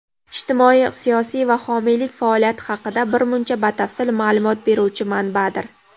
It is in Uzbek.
ijtimoiy-siyosiy va homiylik faoliyati haqida birmuncha batafsil ma’lumot beruvchi manbadir.